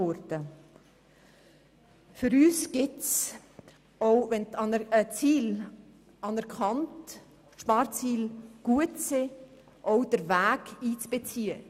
Auch wenn die Sparziele gut sind, gilt es für uns, auch den Weg einzubeziehen.